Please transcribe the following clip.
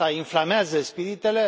Asta inflamează spiritele.